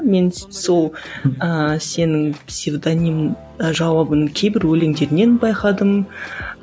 мен сол ыыы сенің псевдоним ы жауабын кейбір өлеңдерінен байқадым